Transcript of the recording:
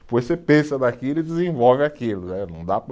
Depois você pensa naquilo e desenvolve aquilo, eh não dá